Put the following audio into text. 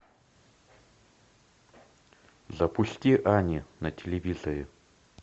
запусти ани на телевизоре